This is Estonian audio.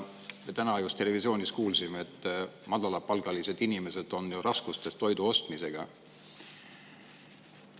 Täna just televisioonist kuulsime, et madalapalgalised inimesed on raskustes toidu ostmisega.